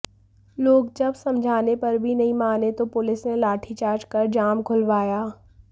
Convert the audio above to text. लोग जब समझाने पर भी नहीं माने तो पुलिस ने लाठीजार्च कर जाम खुलवाया